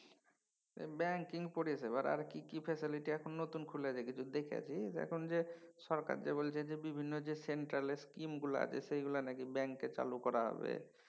banking পরিসেবার আর কি কি facility এখন নতুন খুলেছে কিছু দেখেছিস এখন যে সরকার যে বলছে বিভিন্ন যে সেন্ট্রালের skim গুলা আছে সেইগুলা নাকি ব্য